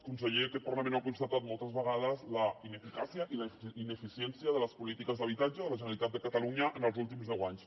conseller aquest parlament ha constatat moltes vegades la ineficàcia i la ineficiència de les polítiques d’habitatge de la generalitat de catalunya en els últims deu anys